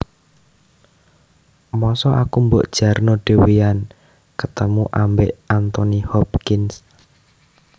Mosok aku mbok jarno dewean ketemu ambek Anthony Hopkins